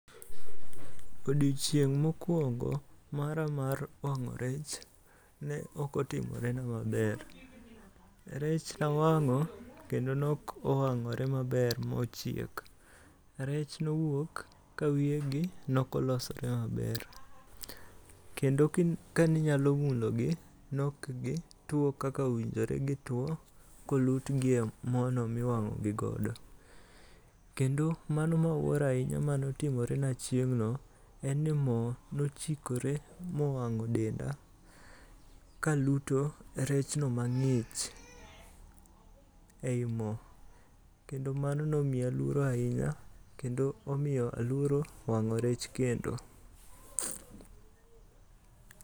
Odiochieng' mokuongo' mara mar wango' rech ne okotimorena maber, rech nawango' kendo ne ok owango'rena maber ma ochiek, rech nowuok ka wiyegi nokolosore maber, kendo kaninyalo mulogi ne ok gi two kaka owinjore gitwo ka olutgie mono ma maber, kendo kaninyalo mulogi ne ok gi two kaka owinjore gi two kolut gi e mo no ma iwango' gi godo kendo kendo mano ma awuoro ahinya mane otimorena chieng'no en ni mo ne ochikore mo owango' denda lakuto rechno mangi'ch e yi mo kendo mano ne omiya luoro ahinya kendo omiyo aluoro wango' rech kendo.